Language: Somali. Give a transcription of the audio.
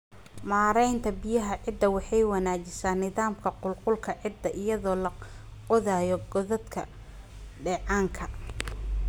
Maareynta Biyaha Ciidda Waxay wanaajisaa nidaamka qulqulka ciidda iyadoo la qodayo godadka dheecaanka.